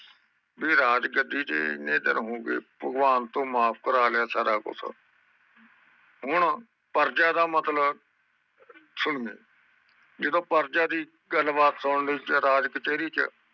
ਤੇ ਰਾਜ ਗੱਦੀ ਤੇ ਇਹਨੇ ਦਿਨ ਹੋਗਏ ਭਗਵਾਨ ਤੋਂ ਮਾਫ ਕਰ ਲਿਆ ਸਾਰਾ ਗੁੱਸਾ ਹੁਣ ਪ੍ਰਜਯਾ ਦਾ ਮਤਲਬ ਸੁਣੇ ਜਦੋ ਪਰਜਾ ਦੀ ਗੱਲ ਬਾਤ ਸੁਨਣ ਲਈ ਤੇ ਰਾਜ ਕਚੈਰੀ ਚ